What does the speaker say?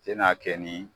I n'a kɛ ni